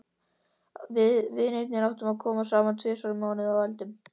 Við vinirnir átta komum saman tvisvar í mánuði og eldum.